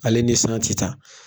Ale ni siran tɛ ta.